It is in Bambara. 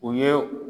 U ye